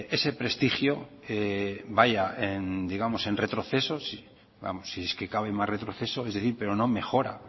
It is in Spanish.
ese prestigio vaya en retroceso si es que cabe más retroceso pero no mejora